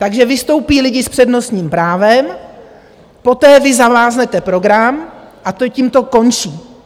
Takže vystoupí lidi s přednostním právem, poté vy zamáznete program, a tím to končí.